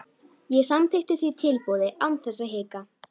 Ég samþykkti því tilboðið án þess að hika.